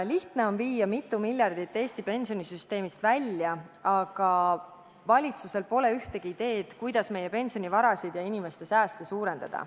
Lihtne on viia mitu miljardit Eesti pensionisüsteemist välja, aga valitsusel pole ühtegi ideed, kuidas meie pensionivarasid ja inimeste sääste suurendada.